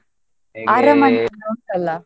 ಎಲ್ಲ ಉಂಟಲ್ಲಾ?